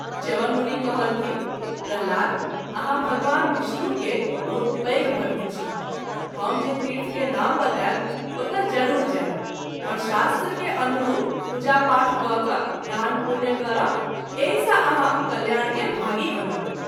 च्यवन मुनि कहलथिन्ह प्रह्लाद आहाँ भगवान विष्णु के बहुत पैघ भक्त छी हम जे तीर्थ के नाम बताएब ओतय जरूर जायब और शास्त्र के अनरूप पूजा पाठ कय क’ दान पुण्य करब एहि सँ आहाँ कल्याण के भागी बनब।